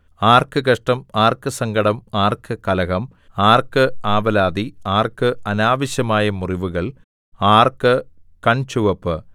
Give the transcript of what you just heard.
ആർക്ക് കഷ്ടം ആർക്ക് സങ്കടം ആർക്ക് കലഹം ആർക്ക് ആവലാതി ആർക്ക് അനാവശ്യമായ മുറിവുകൾ ആർക്ക് കൺചുവപ്പ്